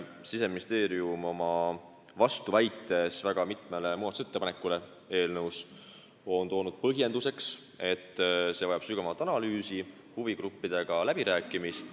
Siseministeerium on oma vastuväites väga mitmele eelnõus tehtud muudatusettepanekule toonud põhjenduseks, et on vaja sügavamat analüüsi ja huvigruppidega läbirääkimist.